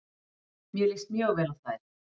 Mér líst mjög vel á þær.